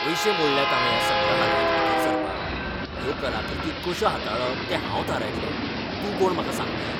पयशे मोडल्यात हावें ह्या संग्रहालयांत भीतर सरपाक, ह्यो कलाकृती कश्यो हाताळप तें हांव थारायतलें, तूं कोण म्हाका सांगपी?